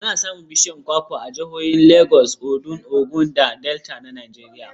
Ana samun bishiyun kwakwa a jihohin Lagos, Ondo, Ogun da Delta na Najeriya.